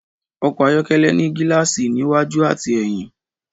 Ọkọ̀ ayọ́kẹ́lẹ́ ní gíláàsì ní iwájú àti èyìn.